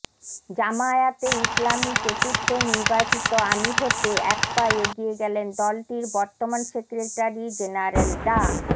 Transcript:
জামায়াতে ইসলামীর চতুর্থ নির্বাচিত আমির হতে এক পা এগিয়ে গেলেন দলটির বর্তমান সেক্রেটারি জেনারেল ডা